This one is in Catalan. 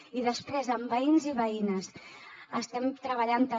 i després amb veïns i veïnes estem treballant també